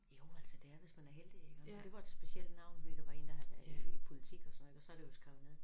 Jo altså det er hvis man er heldig ik og det var et specielt navn ved der var én der havde været i politik og sådan noget ik og så det jo skrevet ned